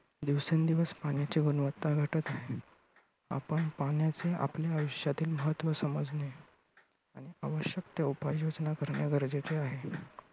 दिवसेंदिवस पाण्याची गुणवत्ता घटत आहे. आपण पाण्याचे आपल्या आयुष्यातील महत्त्व समजणे, आवश्यक त्या उपाययोजना करणे गरजेचे आहे.